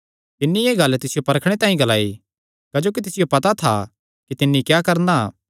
तिन्नी एह़ गल्ल तिसियो परखणे तांई ग्लाई क्जोकि तिसियो पता था कि तिन्नी क्या करणा